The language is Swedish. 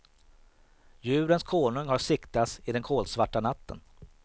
Djurens konung har siktats i den kolsvarta natten.